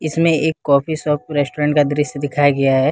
इसमें एक coffee shop restaurant का दृश्य दिखाया गया है।